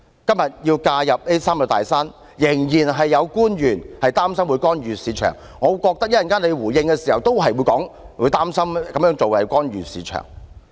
今天要介入這"三座大山"，仍然有官員擔心會干預市場，我認為政府稍後在回應時也會說擔心這樣做會干預市場。